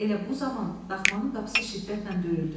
Elə bu zaman daxmanın qapısı şiddətlə döyüldü.